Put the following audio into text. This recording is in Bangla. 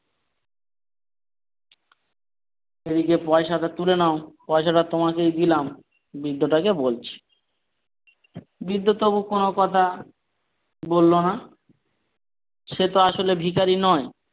এদিকে পয়সাটা তুলে নাও পয়সা টা তোমাকেই দিলাম বৃদ্ধ টা কে বলছে বৃদ্ধ তবুও কোন কথা বলল না সে তো আসলে ভিখারী নয়।